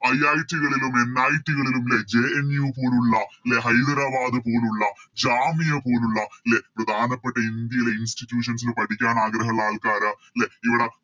IIT കളിലും NIT കളിലും ലെ JNU പോലുള്ള ലെ ഹൈദരാബാദ് പോലുള്ള ജാമിയ പോലുള്ള ലെ പ്രധാനപ്പെട്ട ഇന്ത്യയിലെ Institutions ല് പഠിക്കാൻ ആഗ്രഹമുള്ള ആൾക്കാര് ലെ ഇവിടെ